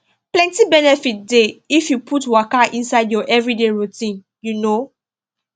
plenty benefit dey if you put waka inside your everyday routine you know